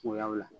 Kuyaw la